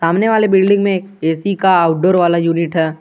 सामने वाले बिल्डिंग में ए_सी का आउटडोर वाला यूनिट है।